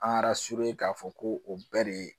An k'a fɔ ko o bɛɛ de ye